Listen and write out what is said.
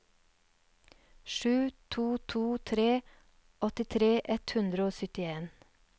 sju to to tre åttitre ett hundre og syttien